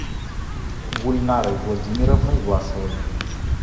гульнарой владимировной власовой